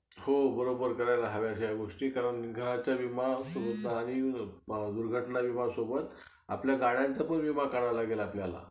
तर दुसऱ्यानं दिवा call आला तेव्हा same process झाला त्याला कधी कधी तुम्ही बोलत असताना समोरचा व्यक्ती चा mobile कोणता type चा आहे त्याच्यावर depend करते कि त्याचा call हि record असतो पण आपलयाला ते काडत नाही